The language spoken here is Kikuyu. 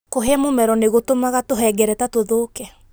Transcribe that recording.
Kũhĩa mũmero nĩ gũtũmaga tũhengereta tũthũke.